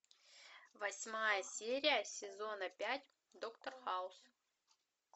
восьмая серия сезона пять доктор хаус